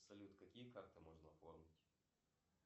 салют какие карты можно оформить